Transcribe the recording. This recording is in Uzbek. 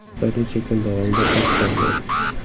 Bir necha kun davomida och qolgan.